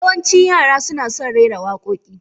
Yawancin Yara suna son rera waƙoƙi.